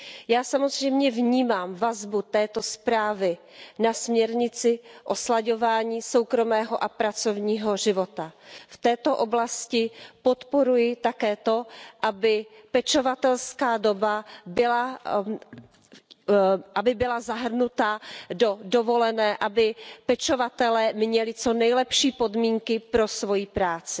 Já samozřejmě vnímám vazbu této zprávy na směrnici o slaďování soukromého a pracovního života. V této oblasti podporuji také to, aby pečovatelská doba byla zahrnuta do dovolené, aby pečovatelé měli co nejlepší podmínky pro svoji práci.